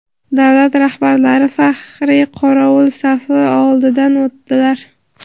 Davlat rahbarlari faxriy qorovul safi oldidan o‘tdilar.